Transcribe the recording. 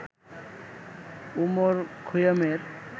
Omar খৈয়ামের